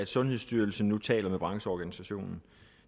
sundhedsstyrelsen nu taler med brancheorganisationen